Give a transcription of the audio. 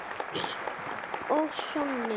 Og soninn